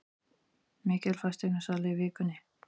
Mikil fasteignasala í vikunni